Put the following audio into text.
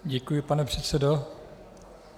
Děkuji, pane předsedo.